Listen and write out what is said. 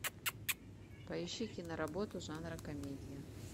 поищи киноработу жанра комедия